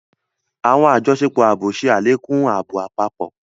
Awọn àjọṣepọ̀ ààbò ṣe alekun ààbò àpapọ